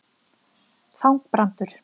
Þangbrandur